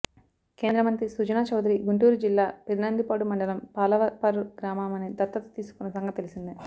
కేంద్రమంత్రి సుజనా చౌదరి గుంటూరు జిల్లా పెదనందిపాడు మండలం పాలపర్రు గ్రామమని దత్తత తీసుకున్న సంగతి తెలిసిందే